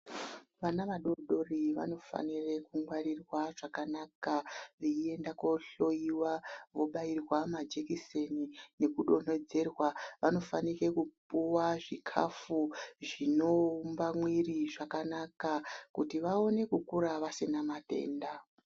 Vana vadoridori vanofanire kungwarirwa zvakanaka veienda koohloyiwa vobairwa majekiseni nekufonedzera. Vanofanike kupuwa zvikafu zvinoumba mwiiri kuti vaone kukura vasina matenda.